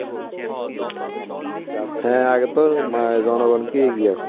হ্যাঁ আগে তো জনগণকেই এগিয়ে আসতে হবে.